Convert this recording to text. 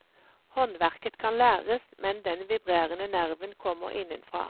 Håndverket kan læres, men den vibrerende nerven kommer innenfra.